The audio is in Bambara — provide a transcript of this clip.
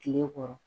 Tile kɔrɔ